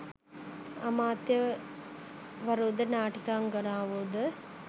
අමාත්‍ය වරුද නාටිකාංගනාවෝ ද